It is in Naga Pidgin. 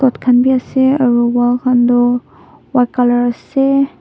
khan bhi ase aru wall khan tu white colour ase.